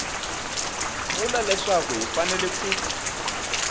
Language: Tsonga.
vula leswaku hi fanele ku